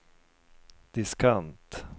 diskant